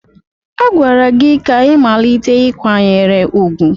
A gwara gị ka ị malite ịkwanyere ugwu!